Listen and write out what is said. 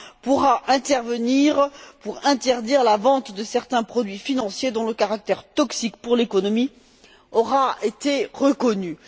pourra intervenir pour interdire la vente de certains produits financiers dont le caractère toxique pour l'économie aura été reconnue.